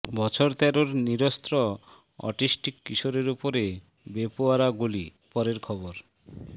বছর তেরোর নিরস্ত্র অটিস্টিক কিশোরের উপরে বেপরোয়া গুলি পরের খবর